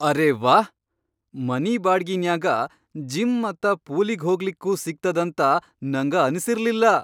ಅರೆ ವಾಹ್, ಮನಿ ಬಾಡ್ಗಿನ್ಯಾಗ ಜಿಮ್ ಮತ್ತ ಪೂಲಿಗ್ ಹೋಗ್ಲಿಕ್ಕೂ ಸಿಗ್ತದಂತ ನಂಗ ಅನಸಿರ್ಲಿಲ್ಲಾ.